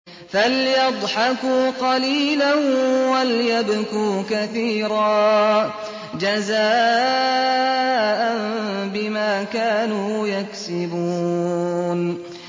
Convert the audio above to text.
فَلْيَضْحَكُوا قَلِيلًا وَلْيَبْكُوا كَثِيرًا جَزَاءً بِمَا كَانُوا يَكْسِبُونَ